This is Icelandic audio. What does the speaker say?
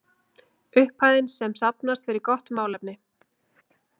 Upphæðin sem safnast fer í gott málefni.